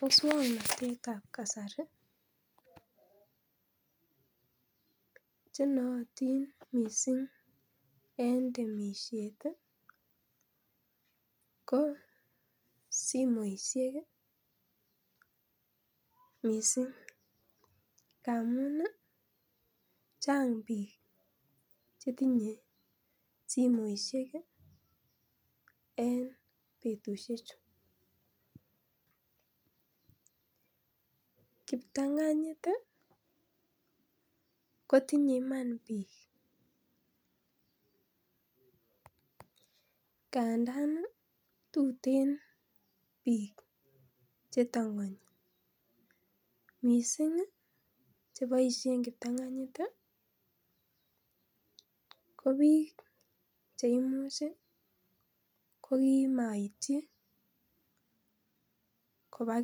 Muswoknotetab kasari chenooting missing en temisiet ii ko simoisiek missing ngamun chang biik chetinyee simoisiek ii en betusiechu kiptang'anyit kotinye iman biik ngandaan tuten biik chetang'anyii missing cheboisien kiptang'anyit ko biik cheimuch ii kokimoityi kobaa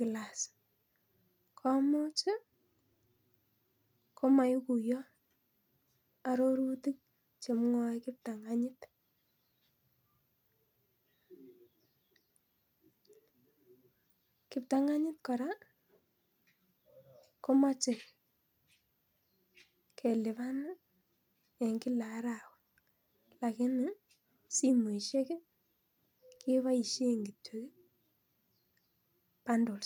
class komuch ii komoikuiyo arorutik chemwoe kiptang'anyit, kiptang'anyit komoche kelipan en kila arawa lakini simoisiek keboisien kiyok bundles.